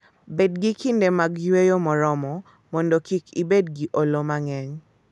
Bed gi kinde mag yweyo moromo mondo kik ibed gi olo mang'eny.